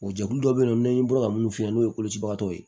O jɛkulu dɔ bɛ yen nɔ n'an ye bolo ka minnu f'i ye n'o ye kolocibagatɔw ye